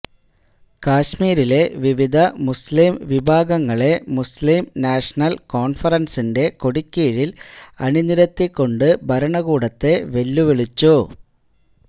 കശ്മീരിലെ വിവിധ മുസ്ലിം വിഭാഗങ്ങളെ മുസ്ലിം നാഷണല് കോണ്ഫറന്സിന്റെ കൊടിക്കീഴില് അണിനിരത്തിക്കൊണ്ട് ഭരണകൂടത്തെ വെല്ലുവിളിച്ചു